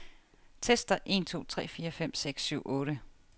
Tester en to tre fire fem seks syv otte.